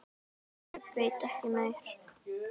En ég veit ekki meir.